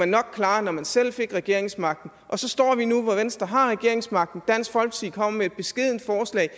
nok klare når man selv fik regeringsmagten og så står vi nu hvor venstre har regeringsmagten med et beskedent forslag